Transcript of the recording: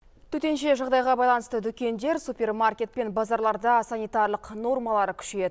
төтенше жағдайға байланысты дүкендер супермаркет пен базарларда санитарлық нормалар күшейеді